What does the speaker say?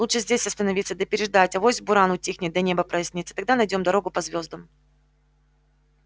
лучше здесь остановиться да переждать авось буран утихнет да небо прояснится тогда найдём дорогу по звёздам